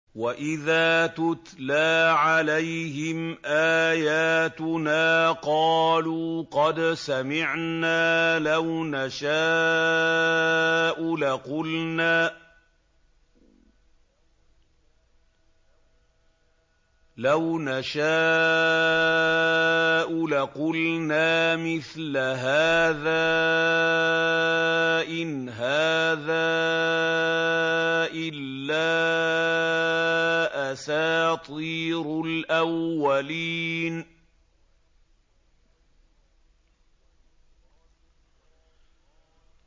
وَإِذَا تُتْلَىٰ عَلَيْهِمْ آيَاتُنَا قَالُوا قَدْ سَمِعْنَا لَوْ نَشَاءُ لَقُلْنَا مِثْلَ هَٰذَا ۙ إِنْ هَٰذَا إِلَّا أَسَاطِيرُ الْأَوَّلِينَ